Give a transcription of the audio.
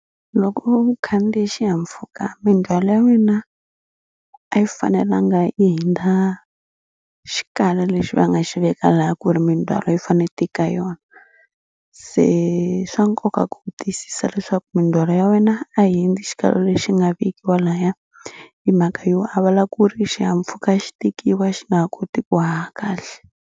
Loko u khandziye xihahampfhuka mindzhwalo ya mina a yi fanelanga yi hundza xikalo lexi va nga xi veka laha ku ri mindzhwalo yi fanele yi tika yona se swa nkoka ku tiyisisa leswaku mindzhwalo ya wena a hundzi xikalo lexi nga vekiwa lahaya hi mhaka yo a vula ku ri xihahampfhuka xi tekiwa xi nga ha koti ku haha kahle